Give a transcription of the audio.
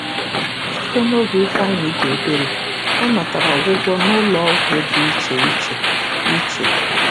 Site n'oge Ifeanyị dị obere, ọ natara ọgwụgwọ n'ụlọọgwụ dị iche iche. iche.